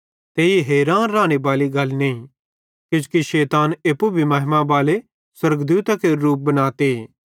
ते ई हैरान राने बाली गल नईं किजोकि शैतान एप्पू भी महिमा बाले स्वर्गदूतां केरू रूप बनाते